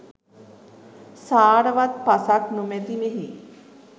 සාරවත් පසක් නොමැති මෙහි